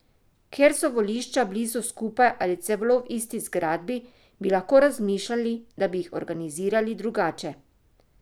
Kjer so volišča blizu skupaj ali celo v isti zgradbi, bi lahko razmišljali, da bi jih organizirali drugače.